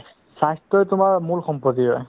স্বাস্থ্যই তোমাৰ মূল সম্পত্তি হয়